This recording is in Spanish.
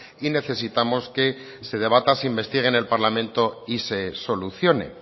y necesitamos que se debata se investigue en el parlamento y se solucione